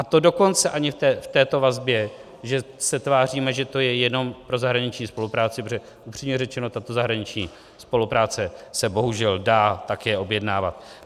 A to dokonce ani v této vazbě, že se tváříme, že to je jenom pro zahraniční spolupráci, protože upřímně řečeno, tato zahraniční spolupráce se bohužel dá také objednávat.